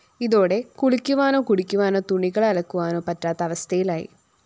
ഇതോടെ കുളിക്കുവാനോ കുടിക്കുവാനോ തുണികള്‍ അലക്കുവാനോ പറ്റാത്ത അവസ്ഥയിലായി